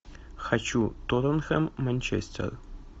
хочу тоттенхэм манчестер